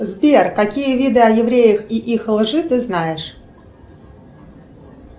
сбер какие виды о евреях и их лжи ты знаешь